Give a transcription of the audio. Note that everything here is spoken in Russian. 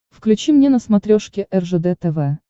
включи мне на смотрешке ржд тв